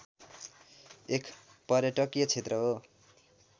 एक पर्यटकीय क्षेत्र हो।